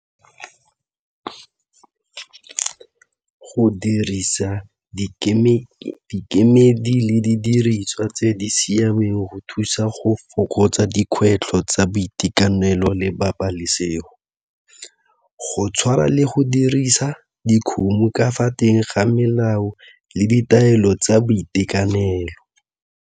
Go dirisa dikemedi le didiriswa tse di siameng go thusa go fokotsa dikgwetlho tsa boitekanelo le pabalesego go tshwara le go dirisa dikgomo ka fa teng ga melao le ditaelo tsa boitekanelo.